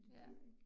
Ja